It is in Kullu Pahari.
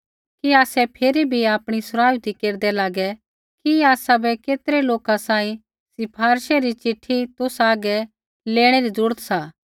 कि आसै फिरी भी आपणी सराउथी केरदै लागै कि आसाबै केतरै लोका सांही सिफारिशे री चिट्ठी तुसा हागै लेणै री जरूरत सा